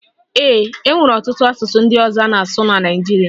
Ee e, e nwere ọtụtụ asụsụ ndị ọzọ a na-asụ na Naịjirịa